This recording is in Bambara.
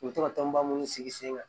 U bɛ to ka tɔnba munnu sigi sen kan